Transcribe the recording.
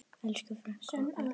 Elsku frænka okkar.